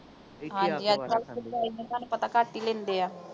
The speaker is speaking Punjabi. ਹਾਂਜੀ, ਅੱਜਕੱਲ੍ਹ ਸੱਚਾਈ ਨਾਲ ਤੁਹਾਨੂੰ ਪਤਾ ਘੱਟ ਹੀ ਲੈਂਦੇ ਆ।